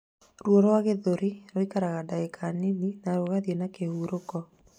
Ruo rwa gĩthũri rũikaraga ndagĩka nini na rũgathiĩ na kĩhuruko